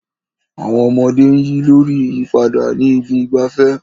Àwọn ọmọdé ń yí lórí ìyípadà ní ibi ìgbafẹ́.